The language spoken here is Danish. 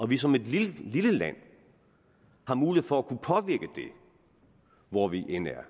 vi som et lille land har mulighed for at kunne påvirke det hvor vi end er